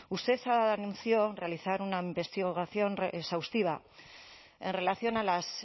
usted anunció realizar una investigación exhaustiva en relación a las